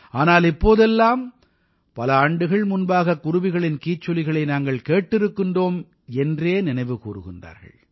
ஆனால் இப்போதெல்லாம் பல ஆண்டுகள் முன்பாக குருவிகளின் கீச்சொலிகளை நாங்கள் கேட்டிருக்கிறோம் என்றே நினைவு கூர்கிறார்கள்